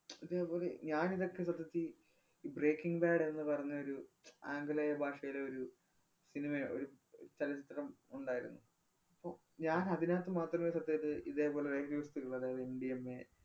ഇതേപോലെ ഞാനിതൊക്കെ കുറച്ചു തി~ ഏർ breaking bad എന്ന് പറഞ്ഞയൊരു ആംഗലേയ ഭാഷയിലെ ഒരു cinema ഏർ ഒരു അഹ് ചലച്ചിത്രം ഉണ്ടായിരുന്നു. അപ്പൊ ഞാന്‍ അതിനകത്ത് മാത്രമേ സത്യായിട്ടും ഇതേപോലെ ഒരു ഇള്ള, അതായത് MDMA